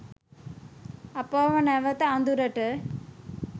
අපව නැවත අඳුරට